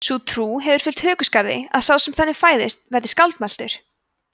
sú trú hefur fylgt hökuskarði að sá sem þannig fæðist verði skáldmæltur